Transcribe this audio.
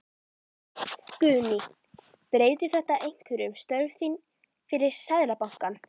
Guðný: Breytir þetta einhverju um störf þín fyrir Seðlabankann?